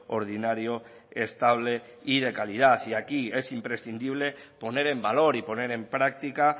ordinario estable y de calidad y aquí es imprescindible poner en valor y poner en práctica